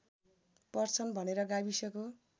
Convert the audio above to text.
पर्छन् भनेर गाविसको